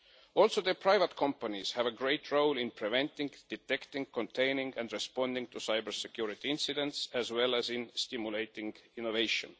Also, private companies have a great role in preventing, detecting, containing and responding to cyber-security incidents, as well as in stimulating innovation.